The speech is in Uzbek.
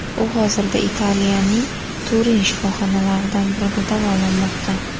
U hozirda Italiyaning Turin shifoxonalaridan birida davolanmoqda.